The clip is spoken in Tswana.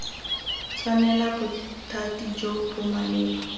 tshwanela bothati jo bo maleba